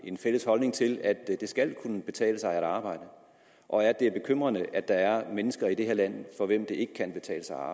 en fælles holdning til at det skal kunne betale sig at arbejde og at det er bekymrende at der er mennesker i det her land for hvem det ikke kan betale sig at